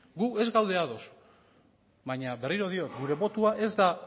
gu ez gaude ados baina berriro diot gure botoa ez da